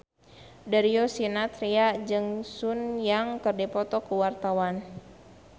Darius Sinathrya jeung Sun Yang keur dipoto ku wartawan